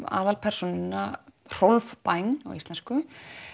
aðalpersónuna Rolf Bæng